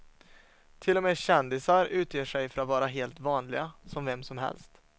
Till och med kändisar utger sig för att vara helt vanliga, som vem som helst.